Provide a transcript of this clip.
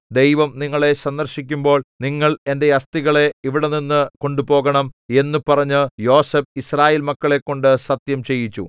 ദൈവം നിങ്ങളെ സന്ദർശിക്കുമ്പോൾ നിങ്ങൾ എന്റെ അസ്ഥികളെ ഇവിടെനിന്ന് കൊണ്ടുപോകണം എന്നു പറഞ്ഞ് യോസേഫ് യിസ്രായേൽമക്കളെക്കൊണ്ടു സത്യംചെയ്യിച്ചു